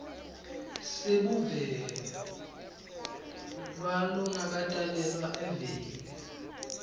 sebuve kwalongakatalelwa eveni